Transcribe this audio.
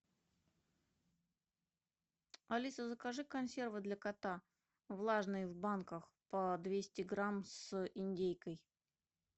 алиса закажи консервы для кота влажные в банках по двести грамм с индейкой